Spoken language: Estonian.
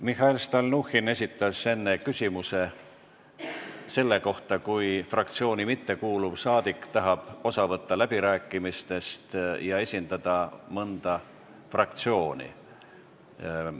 Mihhail Stalnuhhin esitas enne küsimuse selle kohta, kui fraktsiooni mittekuuluv rahvasaadik tahab osa võtta läbirääkimistest ja esindada mõnda fraktsiooni.